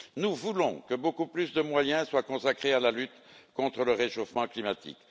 Nous souhaitons que beaucoup plus de moyens soient consacrés à la lutte contre le réchauffement climatique.